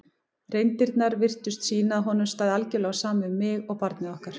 reyndirnar virtust sýna að honum stæði algjörlega á sama um mig og barnið okkar.